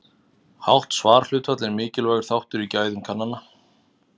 Hátt svarhlutfall er mikilvægur þáttur í gæðum kannana.